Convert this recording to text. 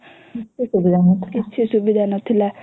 କିଛି ସୁବିଧା ନଥିଲା